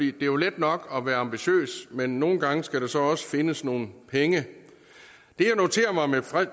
er jo let nok at være ambitiøs men nogle gange skal der så også findes nogle penge det jeg noterer mig med